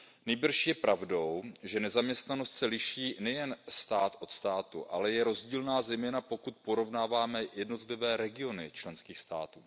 Nýbrž je pravdou, že nezaměstnanost se liší nejen stát od státu, ale je rozdílná, zejména pokud porovnáme i jednotlivé regiony členských států.